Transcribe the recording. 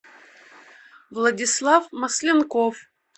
владислав масленков